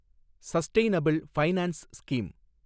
sustainable finance scheme